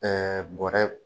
Ɛɛ bɔrɛ